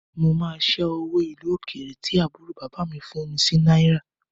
Mo máa ṣẹ́ owó ìlú òkèrè tí àbúrò bàbá mi fún mi sí náírà